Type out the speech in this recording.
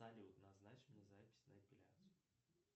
салют назначь мне запись на эпиляцию